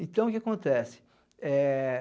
Então, o que que acontece? É